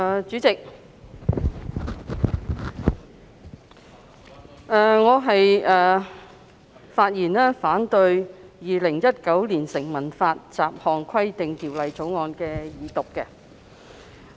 主席，我發言反對《2019年成文法條例草案》二讀。